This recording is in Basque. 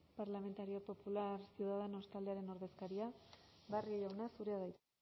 popular ciudadanos taldearen ordezkaria barrio jauna zurea da hitza